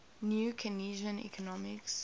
new keynesian economics